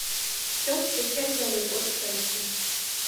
в чем встречать новый год крысы